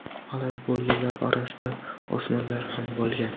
Halok bo‘lganlar orasida o‘smirlar ham bo‘lgan.